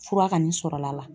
Fura kanni sɔrɔla la.